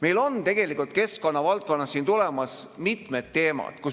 Meil on tegelikult keskkonna valdkonnas tulemas mitmed teemad.